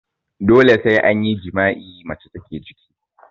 Dole sai an yi jima'i mace take ciki